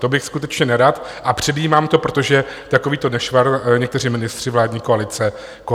To bych skutečně nerad a předjímám to, protože takovýto nešvar někteří ministři vládní koalice mají.